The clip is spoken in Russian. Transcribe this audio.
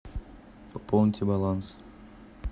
пополните баланс